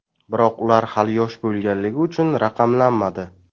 Biroq ular hali yosh bo‘lganligi uchun raqamlanmadi.